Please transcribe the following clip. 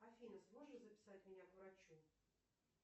афина сможешь записать меня к врачу